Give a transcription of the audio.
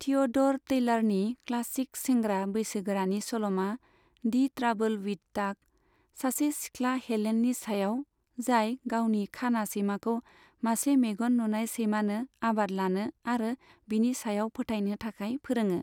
थिअ'ड'र टैलारनि क्लासिक सेंग्रा बैसोगोरानि सल'मा, दि ट्राबोल विथ टाक, सासे सिख्ला हेलेननि सायाव, जाय गावनि खाना सैमाखौ मासे मेगन नुनाय सैमानो आबाद लानो आरो बिनि सायाव फोथायनो थाखाय फोरोङो।